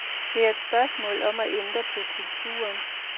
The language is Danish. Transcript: Det er et spørgsmål om at ændre på kulturen.